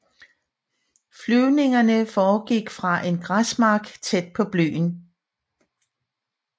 Flyvningerne foregik fra en græsmark tæt på byen